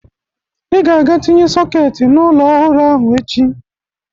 Ị ga-aga tinye sọketị n'ụlọ ọhụrụ ahụ echi